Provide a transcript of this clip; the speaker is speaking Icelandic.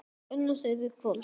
Unnu þeir í kvöld?